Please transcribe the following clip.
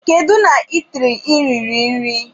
Kedu na itiri i riri nri?